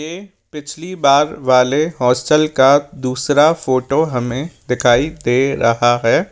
ये पिछली बार वाले हॉस्टल का दूसरा फोटो हमे दिखाई दे रहा है।